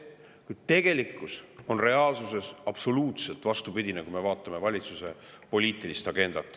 Kuid tegelikkus on absoluutselt vastupidine, kui me vaatame valitsuse poliitilist agendat.